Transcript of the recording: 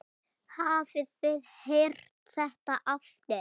Hafið þið heyrt þetta aftur?